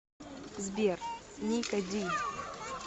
сбер ника ди